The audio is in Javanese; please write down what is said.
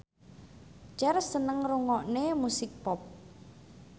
Cher seneng ngrungokne musik pop